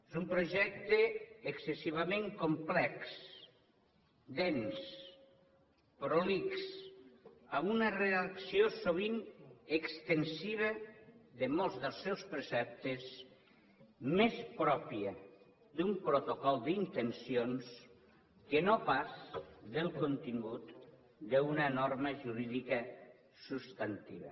és un projecte excessivament complex dens prolix amb una redacció sovint extensiva de molts dels seus preceptes més pròpia d’un protocol d’intencions que no pas del contingut d’una norma jurídica substantiva